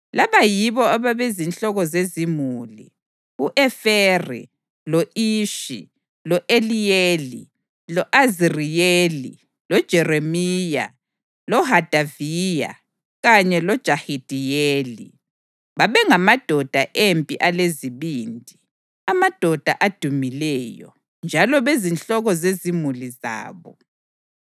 Laba yibo ababezinhloko zezimuli: u-Eferi, lo-Ishi, lo-Eliyeli, lo-Aziriyeli, loJeremiya, loHodaviya, kanye loJahidiyeli. Babengamadoda empi alezibindi, amadoda adumileyo, njalo bezinhloko zezimuli zabo.